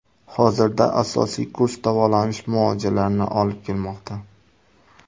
Hozirda asosiy kurs davolanish muolajalarini olib kelmoqda.